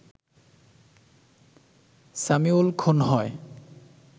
সামিউল খুন হয়